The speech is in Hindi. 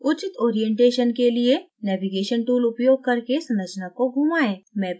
उचित orientation अभिविन्यास के लिए navigation tool उपयोग करके संरचना को घुमाएं